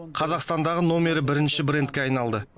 қазақстандағы номері бірінші брендке айналды